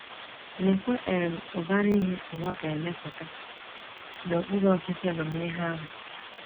Leekwa um ụbara ihe ụwa ga - emepụta n’okpuru ọchịchị amamihe ahụ!